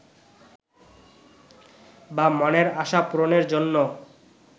বা মনের আশা পূরনের জন্য